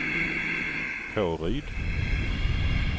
Påryd